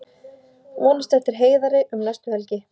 Vonast eftir Heiðari um næstu helgi